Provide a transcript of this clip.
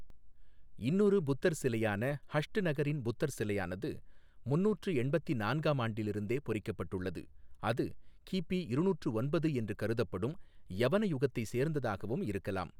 இன்னொரு புத்தர் சிலையான, ஹஷ்ட்நகரின் புத்தர் சிலையானது, முன்னூற்று எண்பத்தி நான்காம் ஆண்டிலிருந்தே பொறிக்கப்பட்டுள்ளது அது கிபி இருநூற்று ஒன்பது என்று கருதப்படும் யவன யுகத்தை சேர்ந்ததாகவும் இருக்கலாம்.